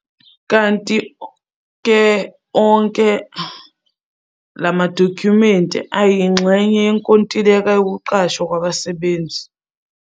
Kanti-ke, onke la madokhumenti ayingxenye yokuqashwa yabasebenzi.